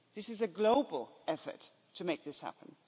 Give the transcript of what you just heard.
This is a global effort to make this happen.